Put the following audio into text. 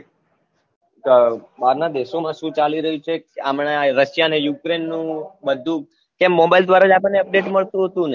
બાર ના દેશો માં શું ચાલી રહ્યું છે હમણાં આ russia અને ukraine નું બધું કેમ mobile દ્વારા જ આપણને update મળતું હતું ને